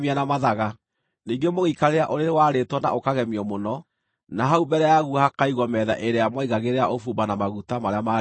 Ningĩ mũgĩikarĩra ũrĩrĩ warĩtwo na ũkagemio mũno, na hau mbere yaguo hakaigwo metha ĩrĩa mwaigagĩrĩra ũbumba na maguta marĩa maarĩ makwa.